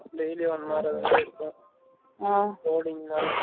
daily யும் one hour அது மாரி இருக்கும் coding தானா